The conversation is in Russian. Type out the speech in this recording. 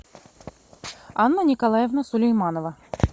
анна николаевна сулейманова